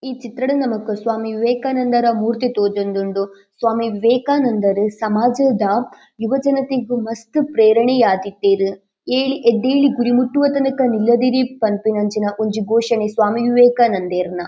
ಈ ಚಿತ್ರಡ್ ನಮಕ್ ಸ್ವಾಮಿ ವಿವೇಕಾನಂದರ ಮೂರ್ತಿ ತೋಜೊಂದುಂಡು. ಸ್ವಾಮಿ ವೆವೇಕಾನಂದರು ಸಮಾಜದ ಯುವ ಜನತೆಗ್ ಮಸ್ತ್ ಪ್ರೇರಣೆಯಾದಿತ್ತೆರ್. ಏಳಿ ಎದ್ದೇಳಿ ಗುರಿ ಮುಟ್ಟುವ ತನಕ ನಿಲ್ಲದಿರಿ ಪನ್ಪುನಂಚಿನ ಒಂಜಿ ಘೋಷಣೆ ಸ್ವಾಮಿ ವಿವೇಕಾನಂದೆರ್ನ .